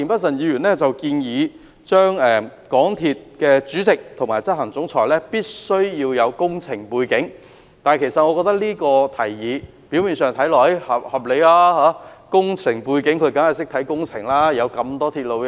田議員建議港鐵公司主席及行政總裁必須具備工程背景，我覺得此提議表面上合理，擁有工程背景的人一定懂得監察工程。